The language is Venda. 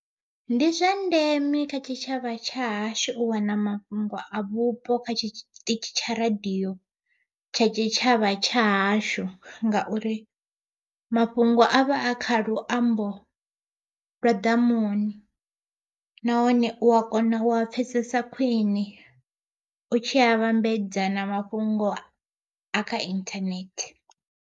Ndi zwa ndeme kha tshitshavha tsha hashu u wana mafhungo a vhupo kha tshiṱitshi tsha radiyo tsha tshitshavha tsha hashu, ngauri mafhungo a vha a kha kha luambo lwa ḓamuni, nahone u a kona u pfhesesa khwiṋe u tshi a vhambedza na mafhungo a kha inthanethe.